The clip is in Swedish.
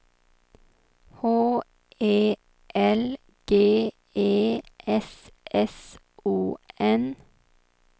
H E L G E S S O N